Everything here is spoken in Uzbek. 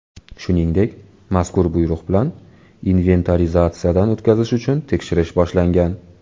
Shuningdek, mazkur buyruq bilan inventarizatsiyadan o‘tkazish uchun tekshirish boshlangan.